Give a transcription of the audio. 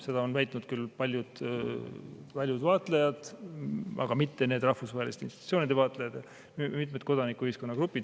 Seda on väitnud küll paljud vaatlejad, aga mitte need rahvusvaheliste institutsioonide vaatlejad, vaid mitmed kodanikuühiskonna grupid.